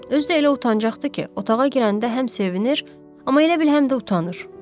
Özü də elə utancaqdır ki, otağa girəndə həm sevinir, amma elə bil həm də utanır.